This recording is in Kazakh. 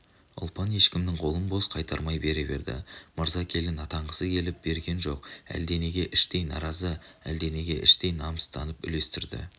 ұлпан ешкімнің қолын бос қайтармай бере берді мырза келін атанғысы келіп берген жоқ әлденеге іштей наразы әлденеге іштей намыстанып үлестірді